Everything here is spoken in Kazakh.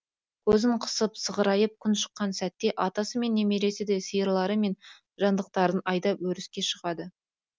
көзін қысып сығырайып күн шыққан сәтте атасы мен немересі де сиырлары мен жандықтарын айдап өріске шығады